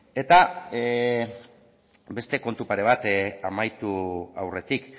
eta beste kontu pare bat amaitu aurretik